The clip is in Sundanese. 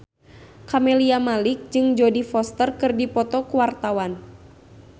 Camelia Malik jeung Jodie Foster keur dipoto ku wartawan